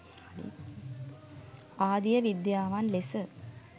ආදිය විද්‍යාවන් ලෙස